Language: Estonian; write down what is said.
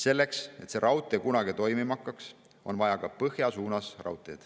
Selleks, et see raudtee kunagi toimima hakkaks, on vaja raudteed ka põhja suunas.